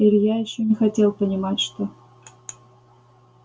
илья ещё не хотел понимать что